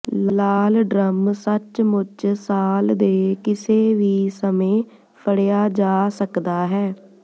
ਲਾਲ drum ਸੱਚਮੁੱਚ ਸਾਲ ਦੇ ਕਿਸੇ ਵੀ ਸਮੇਂ ਫੜਿਆ ਜਾ ਸਕਦਾ ਹੈ